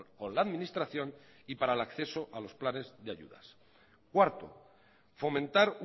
con la administración y para el acceso a los planes de ayudas cuarto fomentar